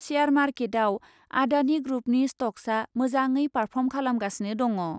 Share मार्केटआव आडानि ग्रुपनि स्टक्सआ मोजाडै पारफर्म खालामगासिनो दङ' ।